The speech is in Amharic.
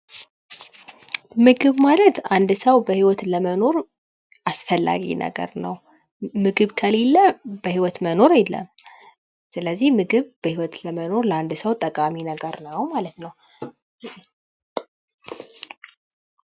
ምግብ ማለት አንድ ሰው በህይወት ለመኖር አስፈላጊ ነገር ነው። ምግብ ከሌላ በህይወት መኖር የለም። ስለዚህ ምግብ በይወት ለመኖር ለአንድ ሰው ጠቃሚ ነገር ነው ።ማለት ነው።